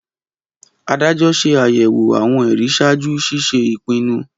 Adájọ́ ṣe ayẹwo awọn ẹri ṣaaju ṣiṣe ipinnu